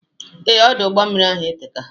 Ee, Ọdụ ụgbọ mmiri ahụ eteka